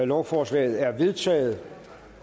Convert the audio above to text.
lovforslaget er vedtaget